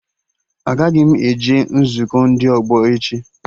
Agaghị m eje nzukọ ndị ọgbọ echi